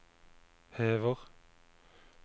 hever